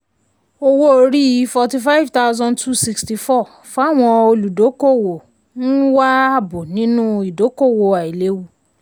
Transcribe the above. owó-orí 45264 fawọn olùdókòwò ń ń wá ààbò nínú ìdókòwò àìléwu.